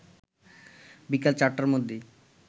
বিকাল ৪টার মধ্যেই